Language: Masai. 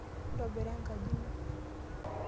Ntobira enkaji ino.